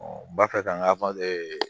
bafɛ kan ka falen